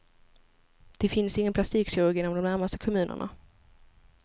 Det finns ingen plastikkirurg inom de närmaste kommunerna.